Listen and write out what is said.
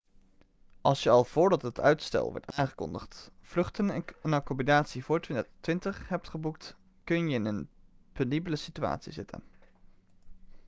als je al voordat het uitstel werd aangekondigd vluchten en accommodatie voor 2020 hebt geboekt kun je in een penibele situatie zitten